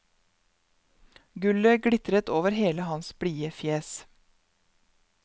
Gullet glitrer over hele hans blide fjes.